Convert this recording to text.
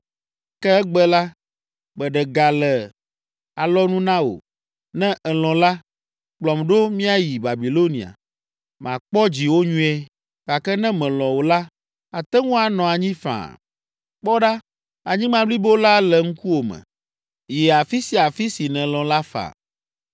Ke egbe la, meɖe ga le alɔnu na wò, ne elɔ̃ la, kplɔm ɖo míayi Babilonia, makpɔ dziwò nyuie, gake ne melɔ̃ o la, ate ŋu anɔ anyi faa. Kpɔ ɖa, anyigba blibo la le ŋkuwò me, yi afi sia afi si nèlɔ̃ la faa.”